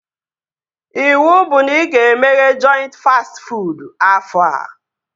Iwu bụ na ị ga-emeghe jọintị fastị fuud afọ a!